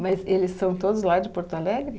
Mas eles são todos lá de Porto Alegre?